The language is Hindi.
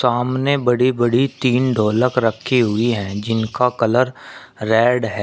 सामने बड़ी बड़ी तीन ढोलक रखी हुई हैं जिनका कलर रेड है।